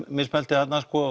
mismælt þig þarna